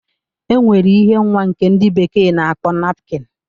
E nwere ihe nwa nke ndị bekee na-akpọ napkịn.